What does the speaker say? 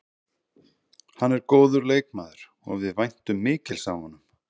Hann er góður leikmaður og við væntum mikils af honum.